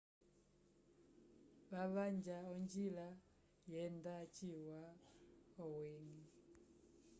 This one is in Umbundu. vavanja onjila yenda ciwa owini